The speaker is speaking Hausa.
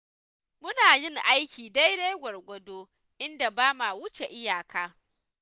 Muna yin aiki daidai gwargwado, inda ba ma wuce iyaka.